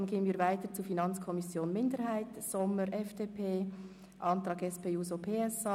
Danach kommen wir zur FiKo-Minderheit, zum Antrag Sommer, FDP, und zum Antrag SP-JUSO-PSA.